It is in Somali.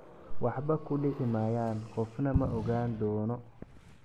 waxba ku dhici maayaan, qofna ma ogaan doono.